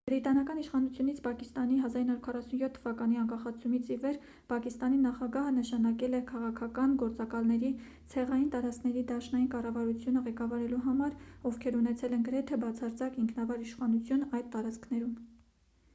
բրիտանական իշխանությունից պակիստանի 1947 թվականի անկախացումից ի վեր պակիստանի նախագահը նշանակել է քաղաքական գործակալների ցեղային տարածքների դաշնային կառավարությունը ղեկավարելու համար ովքեր ունեցել են գրեթե բացարձակ ինքնավար իշխանություն այդ տարածքներում